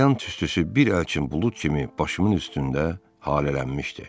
Qəlyan tüstüsü bir əlçim bulud kimi başımın üstündə halələnmişdi.